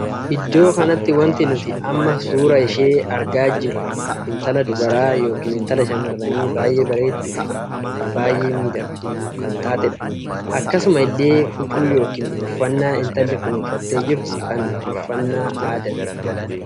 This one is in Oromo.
Iddoo kanatti wanti nuti amma suuraa ishee argaa jiruu intala dubaraa ykn intala shamarranii baay'ee bareedduu fi baay'ee miidhagduu kan taateedha. akkasuma illee huccuu ykn uffannaan intalli kun uffattee jirtu kun uffannaa aadaati.